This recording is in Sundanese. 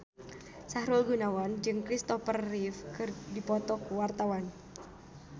Sahrul Gunawan jeung Kristopher Reeve keur dipoto ku wartawan